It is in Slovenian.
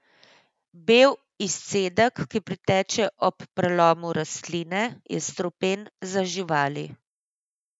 Bel izcedek, ki priteče ob prelomu rastline, je strupen za živali.